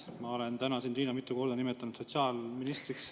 Ma olen täna sind, Riina, mitu korda nimetanud sotsiaalministriks.